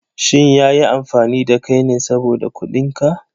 Shin ya yi amfani da kai ne saboda kuɗin ka?